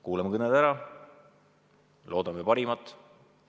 Kuulame kõned ära, loodame parimat.